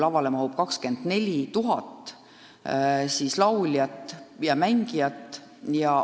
Lavale mahub 24 000 lauljat ja pillimängijat.